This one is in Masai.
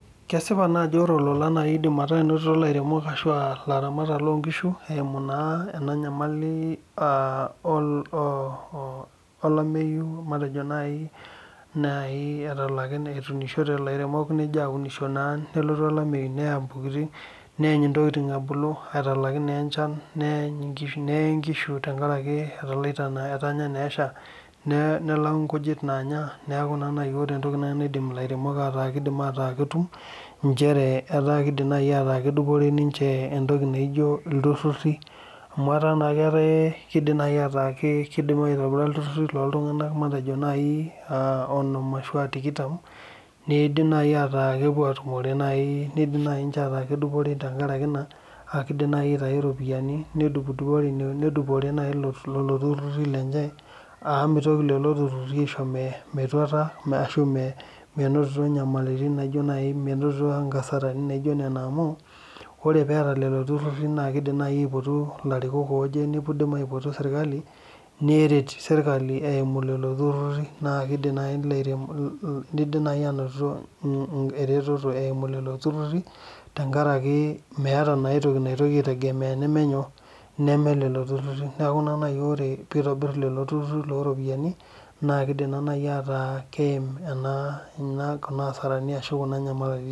Kesipa naa ajo ore olola naa eidim aaku enotito ilairemok aa ilaramatak loongishu eimu naa ena nyamali olameyu matejo nai etuunishote ilairemok nija aunisho nelo naa nelotu olameyu neany intokiting ebulu etalaki naa enchan neye ingishu tenkaraki etalaita naa etanya naa esha nelau ngujit naanya neeku ore entoki naa nai naidim ilairemok aataa ketum njere etaa iidim nai ataa kedupore ninje entoki naijo ilturhurhi amu etaa naa keidim nai aitobira ilturhurhi looltunganak matejo nai aa onom ashu aa tikitam neidim nai ataa kepuo atumore neidim nai ninje ataa kedupore lelo turhurhi lenje amu mitoki lelo turhurhi aisho metuata ashu menoto nkasarani naijo nena amu ore peeta lelo turhurhi idim naai aipotu ilarikok ooje iidim aipoto serkali neret serkali eimu lelo turhurhi naa keidi naai anotito eretoto eimu lelo turhurhi tenkaraki meeta naa aitoki nagira aitegemea teneme lelo turhurhi ore eitobir lelo turhurhi looropiani naa keidim naa nai ataa keim ena kasarani ashu nyamalitin